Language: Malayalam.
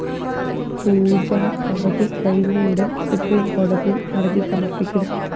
പൂജാ അവധി കഴിഞ്ഞയുടന്‍ സുപ്രീംകോടതിയില്‍ ഹര്‍ജി സമര്‍പ്പിക്കും